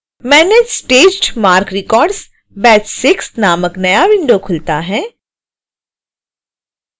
manage staged marc records › batch 6 नामक नया विंडो खुलता है